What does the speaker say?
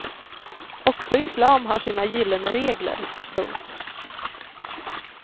Också islam har sina gyllene regler. punkt